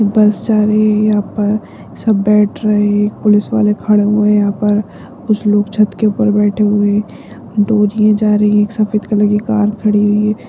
बस जा रही है यहाँ पर सब बैठ रहें एक पुलिस वाले खड़ा हुए है यहाँ पर कुछ लोग छत के ऊपर बैठे हुए हैं एक सफेद कलर की एक कार खड़ी हुई है।